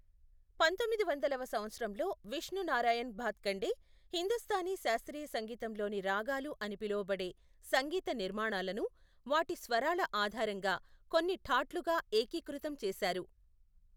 పంతొమ్మిది వందలవ సంవత్సరంలో విష్ణు నారాయణ్ భాత్ఖండె, హిందుస్తానీ శాస్త్రీయ సంగీతంలోని రాగాలు అని పిలువబడే సంగీత నిర్మాణాలను, వాటి స్వరాల ఆధారంగా కొన్ని ఠాట్లుగా ఏకీకృతం చేశారు.